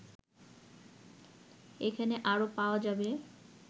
এখানে আরও পাওয়া যাবে